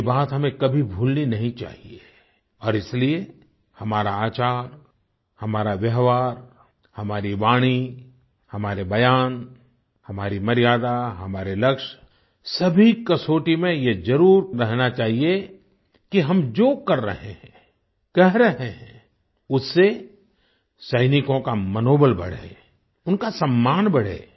ये बात हमें कभी भूलनी नहीं चाहिए और इसीलिए हमारा आचार हमारा व्यवहार हमारी वाणी हमारे बयान हमारी मर्यादा हमारे लक्ष्य सभी कसौटी में ये जरूर रहना चाहिए कि हम जो कर रहे हैं कह रहे हैं उससे सैनिकों का मनोबल बढ़े उनका सम्मान बढ़े